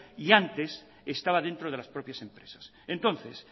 y antes estaba dentro de las propias empresas entonces